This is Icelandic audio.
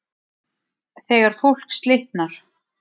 þegar fólk slitnar